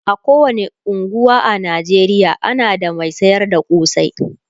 a kowani unguwa a Najeriya ana da Mai sayar da kosai